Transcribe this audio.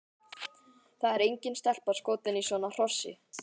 Það er engin stelpa skotin í svona hrossi!